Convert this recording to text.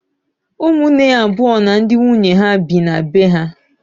Ụmụnne ya abụọ na ndị nwunye ha bi na be ha.